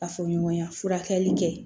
Ka fɔ ɲɔgɔn ya furakɛli kɛ